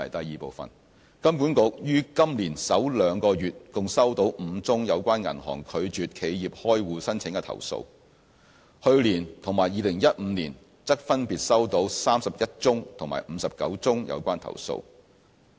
二金管局於今年首兩個月共收到5宗有關銀行拒絕企業開戶申請的投訴，去年及2015年則分別收到31宗及59宗有關投訴。